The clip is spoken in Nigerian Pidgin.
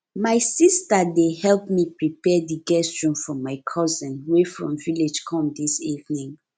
my sister dey help me prepare the guest room for my cousin wey from village come dis evening